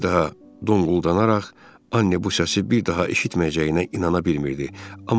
Bir daha donquldanaraq Anne bu səsi bir daha eşitməyəcəyinə inana bilmirdi,